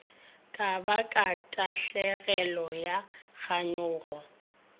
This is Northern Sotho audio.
ka baka tahlegelo ya kganyogo